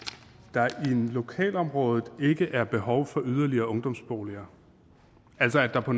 der i lokalområdet ikke er behov for yderligere ungdomsboliger altså at der på